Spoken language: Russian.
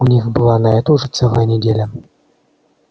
у них была на это уже целая неделя